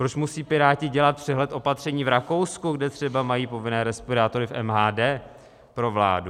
Proč musí Piráti dělat přehled opatření v Rakousku, kde třeba mají povinné respirátory v MHD, pro vládu?